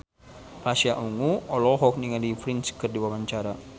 Pasha Ungu olohok ningali Prince keur diwawancara